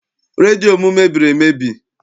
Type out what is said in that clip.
Redio m mebiri emebi.